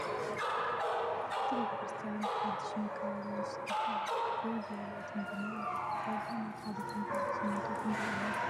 እቲ ቤት ክርስትያን ሓዱሽ መከባብያ ይስርሖ ኣሎ ። ደው ዝበለ ቴንዲኖ ኣሎ ዋጋ ናይ ሓደ ኩንታል ሲምንቶ ክንደይ እዪ ?